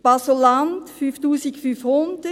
Basel-Landschaft, 5500 Franken;